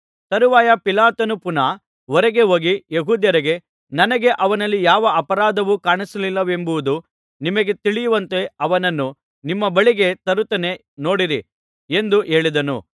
ತರುವಾಯ ಪಿಲಾತನು ಪುನಃ ಹೊರಗೆ ಹೋಗಿ ಯೆಹೂದ್ಯರಿಗೆ ನನಗೆ ಅವನಲ್ಲಿ ಯಾವ ಅಪರಾಧವೂ ಕಾಣಿಸಲಿಲ್ಲವೆಂಬುದು ನಿಮಗೆ ತಿಳಿಯುವಂತೆ ಅವನನ್ನು ನಿಮ್ಮ ಬಳಿಗೆ ತರುತ್ತೇನೆ ನೋಡಿರಿ ಎಂದು ಹೇಳಿದನು